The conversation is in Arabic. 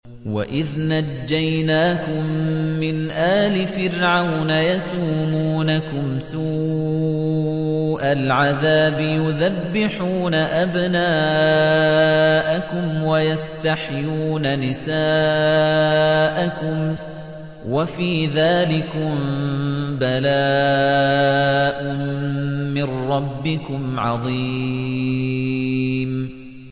وَإِذْ نَجَّيْنَاكُم مِّنْ آلِ فِرْعَوْنَ يَسُومُونَكُمْ سُوءَ الْعَذَابِ يُذَبِّحُونَ أَبْنَاءَكُمْ وَيَسْتَحْيُونَ نِسَاءَكُمْ ۚ وَفِي ذَٰلِكُم بَلَاءٌ مِّن رَّبِّكُمْ عَظِيمٌ